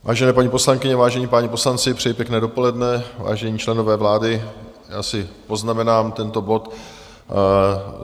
Vážené paní poslankyně, vážení páni poslanci, přeji pěkné dopoledne, vážení členové vlády, já si poznamenám tento bod.